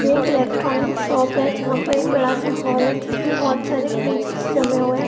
ये एक electronic shop है जहाँ पर एक बड़ा सा हॉल है जिसमें बोहोत सारे फ्रिज जमे हुए हैं।